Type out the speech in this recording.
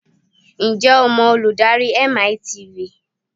Ǹjẹ́ o mọ olùdarí MiTV?